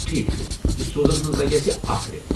ٹھیٖک چُھ، یہِ سوزنَس منٛز لگہِ اسہِ اکھ رٮ۪تھ ۔